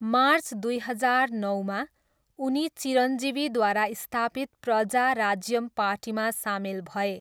March दुई हजार नौमा, उनी चिरञ्जीवीद्वारा स्थापित प्रजा राज्यम पार्टीमा सामेल भए।